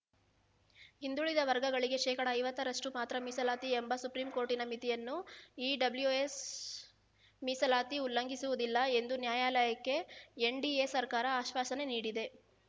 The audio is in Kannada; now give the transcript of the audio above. ಹಿಂದುಳಿದ ವರ್ಗಗಳಿಗೆ ಶೇಕಡಾ ಐವತ್ತರಷ್ಟು ಮಾತ್ರ ಮೀಸಲಾತಿ ಎಂಬ ಸುಪ್ರೀಂಕೋರ್ಟಿನ ಮಿತಿಯನ್ನು ಇಡಬ್ಲ್ಯುಎಸ್ ಮೀಸಲಾತಿ ಉಲ್ಲಂಘಿಸುವುದಿಲ್ಲ ಎಂದು ನ್ಯಾಯಾಲಯಕ್ಕೆ ಎನ್‌ಡಿಎ ಸರ್ಕಾರ ಆಶ್ವಾಸನೆ ನೀಡಿದೆ